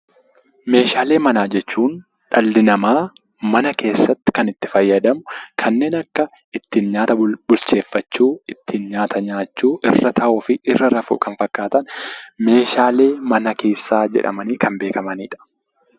Meeshaalee manaa jechuun dhalli namaa mana keessatti kan itti fayyadamu kanneen akka ittiin nyaata bulcheeffachuu, ittiin nyaata nyaachuu, irra taa'uu fi irra rafuu kan fakkaatan meeshaalee mana keessaa jedhamanii kan beekamanidha.